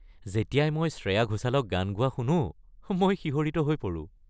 যেতিয়াই মই শ্ৰেয়া ঘোচালক গান গোৱা শুনো, মই শিহৰিত হৈ পৰোঁ।